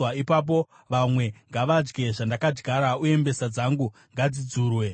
ipapo vamwe ngavadye zvandakadyara, uye mbesa dzangu ngadzidzurwe.